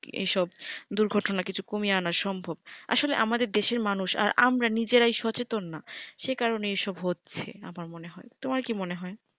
এসব দুর্ঘটনা কিছু কমিয়ে আনা সম্ভব আসলে আমাদের দেশের মানুষ আর আমরা নিজেরাই সচেতন না সেকারণেই এসব হচ্ছে আমার মনে হয় তোমার কি মনে হয়